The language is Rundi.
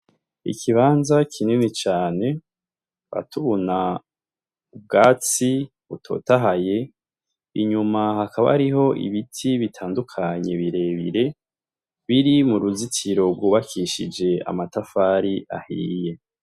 Ikibanza kinini cane atubuna ubwatsi utotahaye inyuma hakaba ariho ibiti bitandukanye birebire biri mu ruzitsiro rwubakishije amatafari ahiye.